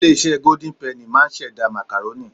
Ilé iṣẹ́ Golden Penny máà ń ṣẹ̀dá. Màkàrónì